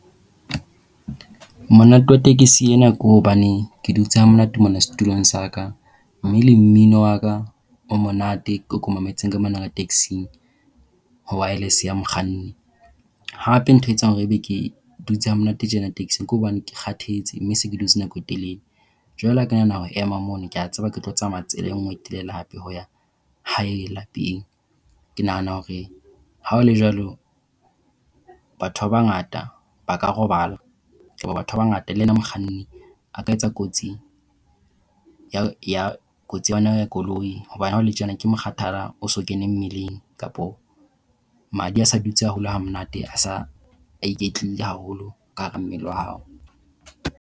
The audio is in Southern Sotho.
Monate wa tekesi ena ke hobane ke dutse ha monate mona setulong sa ka. Mme le mmino wa ka o monate oo ke o mametseng ka mona ka taxi-ng, ho waelese ya mokganni. Hape ntho e etsang hore ebe ke dutse hamonate tjena taxi-ng ka hobane ke kgathetse mme se ke dutse nako e telele. Jwale ha ke nahana ho ema mono, ke a tseba ke tlo tsamaya tsela e nngwe e telele hape ho ya hae lapeng. Ke nahana hore ha ho le jwalo batho ba bangata ba ka robala batho ba bangata le yena mokganni a ka etsa kotsi ya kotsi ya koloi hobane ha ho le tjena ke mokgathala o so kene mmeleng kapa madi a sa dutse haholo ha monate a sa iketlile haholo ka hara mmele wa hao.